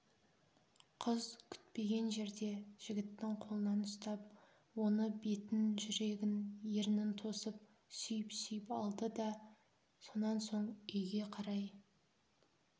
қыз күтпеген жерде жігіттің қолынан ұстап оны бетін жүрегін ернін тосып сүйіп-сүйіп алды да сонан соң үйге қарай